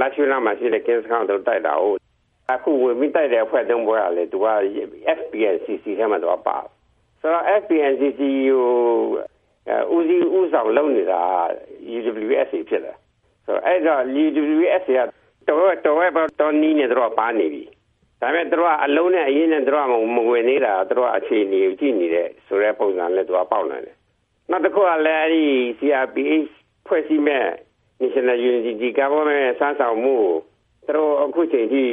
လားရှိုးနားမှာရှိတဲ့ ကင်းစခန်းကို ဝင်ပြီးတိုက်တာကိုး။ အခုဝင်ပြီးတိုက်တဲ့ အဖွဲ့ ၃ ဖွဲ့ကလည်း FPNCC ထဲမှာပါတယ်။ ဆိုတော့ FPNCC ကို ဦးစီး ဦးဆောင်လုပ်နေတာက UWSA ဖြစ်တယ်။ ဆိုတော့ UWSA က သွယ်ဝိုက်သော နည်းနဲ့ ပါနေပြီ၊ ဒါပေမယ့် သူတို့က အလုံးနဲ့အရင်းနဲ့ မဝင်သေးတာ သူက အခြေအနေကို ကြည့်နေတယ်ဆိုတဲ့ ပုံစံမျိုး ပေါက်နေတယ်။ နောက်တခုကလည်း CRPH ဖွဲ့စည်းမယ့် National Unity Government(NUG) စွမ်းဆောင်မှုကို သူတို့ အခုအချိန်အထိ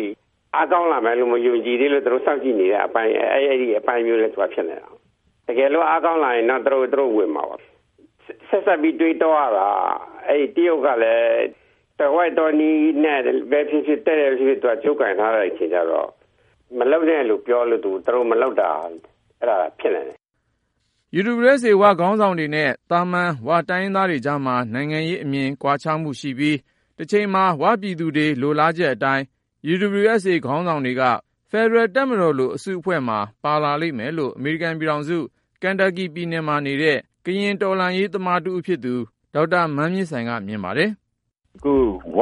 အားကောင်းလာမယ်လို့ မယုံကြည်သေးလို့ စောင့်ကြည့်နေတဲ့အပိုင်း။ အဲလို အပိုင်းမျိုးလည်း ဖြစ်နိုင်တယ်။ တကယ်လို့ အားကောင်းလာရင်တော့ သူတို့ ဝင်မှာပါ။ ဆက်စပ်ပြီး တွေးတောလို့ရတာက တရုတ်ကလည်း သွယ်ဝိုက်သောနည်းနဲ့ပဲ ဖြစ်ဖြစ် ၊ တည့်တည့်ပဲ ဖြစ်ဖြစ် ကြိုးကိုင်ထားတဲ့အခါကျတော့ မလုပ်နဲ့လို့ပြောလို့ သူတို့ မလုပ်တာလည်း ဖြစ်နိုင်တယ်။” UWSA ဝ-ခေါင်းဆောင်တွေနဲ့ သာမန် ဝ-တိုင်းရင်းသားတွေကြားမှာ နိုင်ငံရေးအမြင် ကွာခြားမှုရှိပြီး ၊ တချိန်မှာ ဝ-ပြည်သူတွေလိုလားချက် အတိုင်း UWSA ဝ-ခေါင်းဆောင်တွေက ဖက်ဒရယ်တပ်မတော်လို အစုအဖွဲ့မှာ ပါလာလိမ့်မယ်လို့ အမေရိကန်ပြည်ထောင်စု ကန်တပ်ကီ ပြည်နယ်မှာနေတဲ့ ကရင်တော်လှန်ရေးသမားတဦးဖြစ်သူ ဒေါက်တာ မန်းမြင့်ဆိုင်က မြင်ပါတယ်။ “၀ က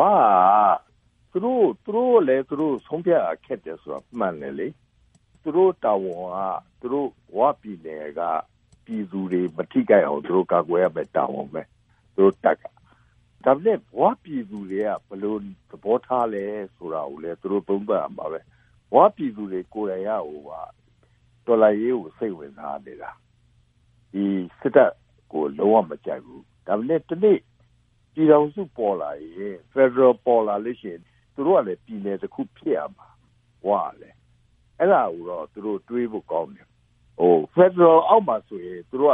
သူတို့လည်း သူတို့ဆုံးဖြတ်ရ ခက်တယ်ဆိုတာ မှန်တယ်လေ။ သူတို့တာဝန်က ဝပြည်နယ်က ပြည်သူတွေ မထိခိုက်အောင် ကာကွယ်ရမယ့် တာဝန်ပဲ သူတို့တပ်က ။ ဒါပေမယ့် ၀ ပြည်သူတွေ ဘယ်လိုသဘောထားလဲဆိုတာကိုလည်း သူတို့ သုံးသပ်ရမှာပဲ။ ၀ ပြည်သူတွေကိုယ်တိုင်က တော်လှန်ရေးကို စိတ်ဝင်စားနေတာ။ ဒီ စစ်တပ်ကို လုံး၀ မကြိုက်ဘူး၊ ဒါပေမယ့် တနေ့ ပြည်ထောင်စု ပေါ်လာရင် ၊ ဖယ်ဒရယ် ပေါ်လာလို့ရှိရင် သူတို့ကလည်း ပြည်နယ်တခု ဖြစ်ရမှာ ၀ ကလည်း။ အဲဒါကိုတော့ သူတို့ တွေးဖို့ကောင်းတယ်။ ဖယ်ဒရယ် အောက်မှဆိုရင် သီးသန့် ပြော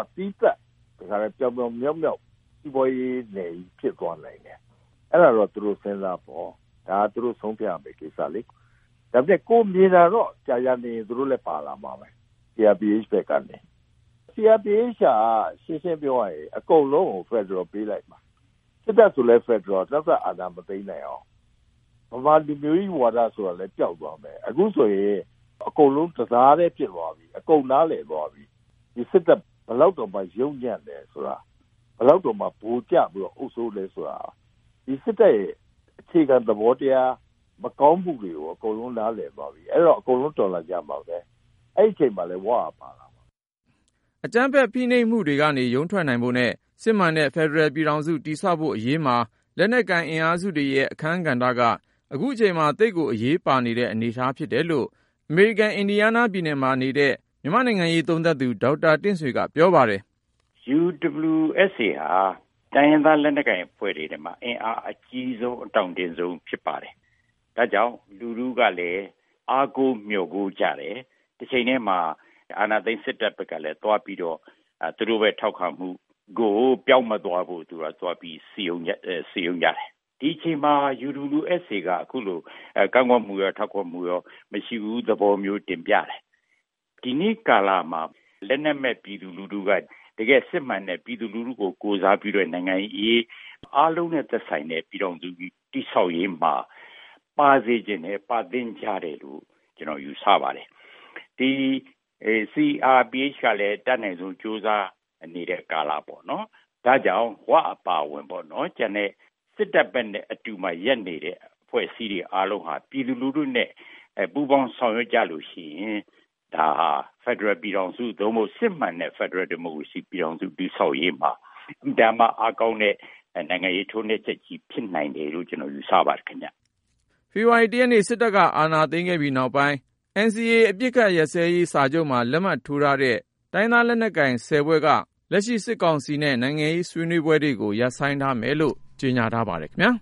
င်ပြောင်မြောက်မြောက် စီးပွားရေးနယ်ကြီးဖြစ်သွားနိုင်တယ်။ အဲဒါတော့ သူတို့ စဉ်းစားပေါ့၊ ဒါကသူတို့ ဆုံးဖြတ်ရမယ့် ကိစ္စလေ ၊ ဒါပေမယ့် ကိုယ်မြင်တာတော့ ကြာကြာနေရင် သူတို့လည်း ပါလာမှာပဲ CRPH ဘက်ကနေ ။ CRPH က ရှင်းရှင်းပြောရရင် အကုန်လုံးကို ဖယ်ဒရယ်ပေးလိုက်မှာ ၊ စစ်တပ်ဆိုလည်း ဖယ်ဒရယ် နောက်ထပ် အာဏာမသိမ်းနိုင်အောင် ။ ဗမာလူမျိုးကြီး ဝါဒဆိုတာလည်း ပျောက်သွားမယ်။ အခုဆိုရင် အကုန်လုံး တသားတည်း ဖြစ်သွားပြီ ၊ အကုန်နားလည်သွားပြီး ဒီစစ်တပ် ဘယ်လောက်တောင် ယုတ်ညံ့သလဲဆိုတာ ၊ ဘယ်လောက်တောင်မှ ဗိုလ်ကျပြီးတော့ အုပ်စိုးသလဲဆိုတာ ။ ဒီစစ်တပ်ရဲ့ အခြေခံ သဘောတရား မကောင်းမှုတွေကို အကုန်လုံးနားလည်သွားပြီ အဲဒီတော့ အကုန်လုံး တော်လှန်ကြမှာပဲ။ အဲဒီအချိန်မှာလည်း ၀ က ပါလာမှာ။” အကြမ်းဖက်ဖိနှိပ်မှုတွေကနေ ရုန်းထွက်နိုင်ဖို့နဲ့ စစ်မှန်တဲ့ ဖက်ဒရယ်ပြည်ထောင်စု တည်ဆောက်ဖို့ အရေးမှာ လက်နက်ကိုင် အင်အားစုတွေရဲ့ အခန်းကဏ္ဍက ခုချိန်မှာ သိပ်ကို အရေးပါနေတဲ့ အနေအထား ဖြစ်လာတယ်လို့ အမေရိကန် အင်ဒီယားနားပြည်နယ်မှာ နေတဲ့ မြန်မာ့နိုင်ငံရေး သုံးသပ်သူ ဒေါက်တာတင့်ဆွေက ပြောပါတယ်။ “UWSA ဟာ တိုင်းရင်းသားလက်နက်ကိုင် အဖွဲ့တွေထဲမှာ အင်အားအကြီးဆုံး အတောင့်တင်းဆုံးဖြစ်ပါတယ်။ ဒါကြောင့် လူထုကလည်း အားကိုးမျှော်ကိုးကြတယ်။ တချိန်တည်းမှာ အာဏာသိမ်းစစ်တပ်ကလည်း သွားပြီးတော့၊ သူတို့အပေါ် ထောက်ခံမှုကို ပျောက်မသွားအောင်လို့ စည်းရုံးကြတယ်။ ဒီအချိန်မျာ UWSA ဟာ ကန့်ကွက်မှုရော ထောက်ခံမှုရော မရှိဘူး သဘောမျိုး တင်ပြတယ်။ ဒီနေ့ကာလမှာ လက်နက်မဲ့ပြည်သူလူထုက တကယ့်စစ်မှန်တဲ့ ပြည်သူလူထုကို ကိုယ်စားပြုတဲ့ နိုင်ငံ့အရေး အားလုံးနဲ့သက်ဆိုင်တဲ့ ပြည်ထောင်စုကြီး တည်ဆောက်ရေးမှာ ပါစေချင်တယ်၊ ပါသင့်ကြတယ်လို့ ကျနော်ယူဆပါတယ်။ ဒီ CRPH က အတတ်နိုင်ဆုံးကြိုးစား နေတဲ့ကာလပေါ့နော်။ ဒါကြောင့် ၀ အပါအဝင် ကျန်တဲ့ စစ်တပ်ဘက်မှာ ရပ်နေတဲ့ အဖွဲ့အစည်းတွေအားလုံးက ပြည်သူလူထုနဲ့ ပူးပေါင်းဆောင်ရွက်ကြရင် ဒါဟာ ဖယ်ဒရယ်ပြည်ထောင်စု စစ်မှန်တဲ့ ဖက်ဒရယ်ဒီမိုကရေစီ ပြည်ထောင်စု တည်ဆောက်ရေးမှာ အင်မတန်မှ အားကောင်းတဲ့ နိုင်ငံရေးထိုက်နှက်ချက်ကြီး ဖြစ်နိုင်တယ်လို့ ကျနေ်ာယူဆပါတယ်ခင်ဗျ။ ဖေဖေါ်ဝါရီ ၁ ရက်နေ့ စစ်တပ်က အာဏာသိမ်းခဲ့ပြီးနောက်ပိုင်း NCA အပစ်အခတ်ရပ်စဲရေး စာချုပ်မှာ လက်မှတ်ထိုးထားတဲ့ တိုင်းရင်းသားလက်နက်ကိုင် (၁၀)ဖွဲ့က လက်ရှိ စစ်ကောင်စီနဲ့ နိုင်ငံရေးအရ ဆွေးနွေးပွဲတွေကို ရပ်ဆိုင်းထားမယ်လို့ ကြေညာထားပါတယ်ခင်ဗျား။